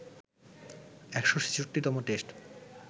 ১৬৬তম test